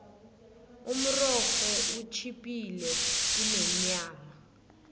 umrorho utjhiphile kunenyama